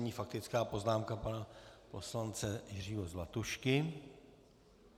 Nyní faktická poznámka pana poslance Jiřího Zlatušky.